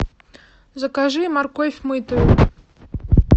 закажи морковь мытую